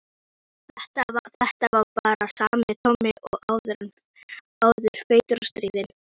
Þetta var bara sami Tóti og áður, feitur og stríðinn.